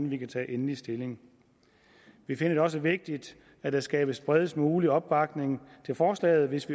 vi kan tage endelig stilling vi finder det også vigtigt at der skabes den bredest mulige opbakning til forslaget hvis